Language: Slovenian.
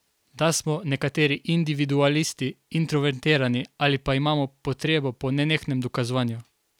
Da smo nekateri individualisti, introvertirani ali pa imamo potrebo po nenehnem dokazovanju?